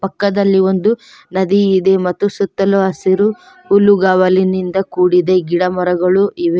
ಪಕ್ಕದಲ್ಲಿ ಒಂದು ನದಿ ಇದೆ ಮತ್ತು ಸುತ್ತಲೂ ಹಸಿರು ಹುಲ್ಲುಗಾವಲಿನಿಂದ ಇದೇ ಗಿಡ ಮರಗಳು ಇವೆ.